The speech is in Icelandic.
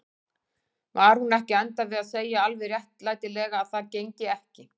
Var hún ekki að enda við að segja alveg réttilega að það gengi ekki?